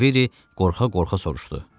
Kaviri qorxa-qorxa soruşdu.